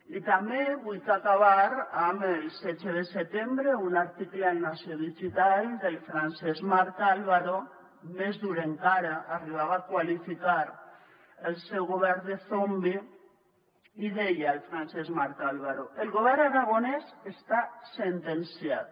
i també vull acabar amb el setze de setembre un article al nació digital del francesc marc álvaro més dur encara arribava a qualificar el seu govern de zombi i deia el francesc marc álvaro el govern aragonès està sentenciat